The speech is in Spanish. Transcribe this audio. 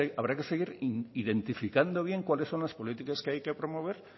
habrá que seguir identificando bien cuáles son las políticas que hay que promover